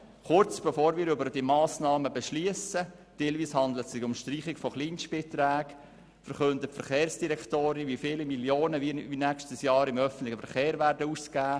Kurz bevor wir über diese Massnahmen beschliessen – teilweise handelt es sich um die Streichung von Kleinstbeträgen –, verkündet die Verkehrsdirektorin, wie viele Millionen wir nächstes Jahr im öffentlichen Verkehr ausgeben werden.